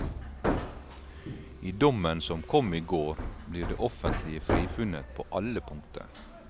I dommen som kom i går, blir det offentlige frifunnet på alle punkter.